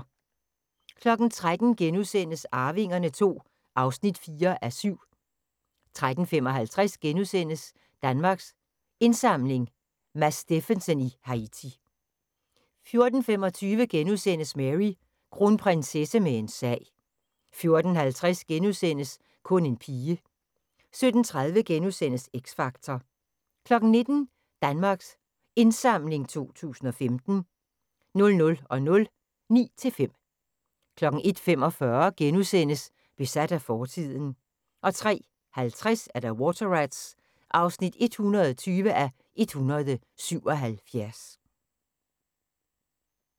13:00: Arvingerne II (4:7)* 13:55: Danmarks Indsamling – Mads Steffensen i Haiti * 14:25: Mary: Kronprinsesse med en sag * 14:50: Kun en pige * 17:30: X Factor * 19:00: Danmarks Indsamling 2015 00:00: Ni til fem 01:45: Besat af fortiden * 03:50: Water Rats (120:177)